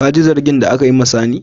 Ka ji zagin da aka yi ma sani?